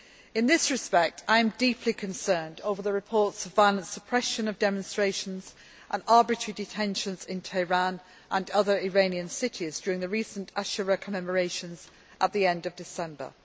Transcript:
In this respect, I am deeply concerned over the reports of violent suppression of demonstrations and arbitrary detentions in Tehran and other Iranian cities during the recent Ashura commemorations at the end of December.